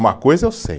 Uma coisa eu sei.